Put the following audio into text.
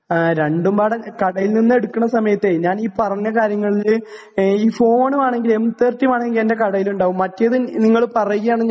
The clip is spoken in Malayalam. രണ്ടും പാടെ കടയിൽ നിന്ന് എടുക്കണ സമയത്തെ ഞാനീ പറഞ്ഞ കാര്യങ്ങളില് ഈ ഫോൺ വേണെങ്കിൽ എം 30 വേണമെങ്കിൽ എന്റെ കടയിൽ ഉണ്ടാകും മറ്റേത് നിങ്ങൾ പറയുകയാണെങ്കിൽ